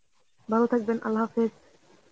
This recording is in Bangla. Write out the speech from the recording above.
ভালো থাকবেন. Arbi